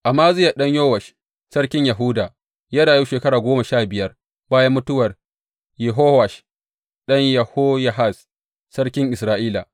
Amaziya ɗan Yowash sarkin Yahuda ya rayu shekara goma sha biyar bayan mutuwar Yehowash ɗan Yehoyahaz sarkin Isra’ila.